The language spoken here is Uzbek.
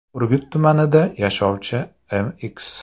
Urgut tumanida yashovchi M.X.